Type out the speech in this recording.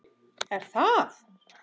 Er það?